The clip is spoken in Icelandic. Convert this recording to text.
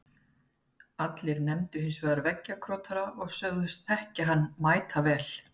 Allir nefndu hins vegar korktrekkjara og sögðust þekkja hann mætavel.